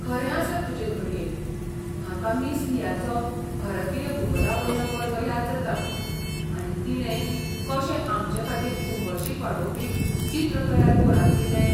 खरें आसत तुजें घडये! म्हाका मिस लियाचो भारतीय भूगोलावयलो वर्ग याद जाता, आनी तिणें कशें आमचेखातीर उमळशीक वाडोवपी चित्र तयार कोंरातिल्लें.